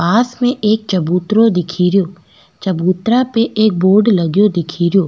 पास में एक चबूतरो दिखेरो चबूतरा पे एक बोर्ड लगयो दिखेरो।